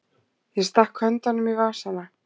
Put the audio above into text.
Ég stakk höndunum í vasana.